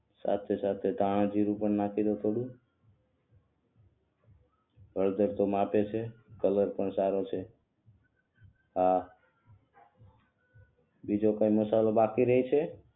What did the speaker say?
સાથે સાથે ધાણાજીરું પણ નાખી દવ થોડું હળદર તો માપે છે કલર પણ સારો છે હા બીજો કોઇ મસાલો બાકી રહે છે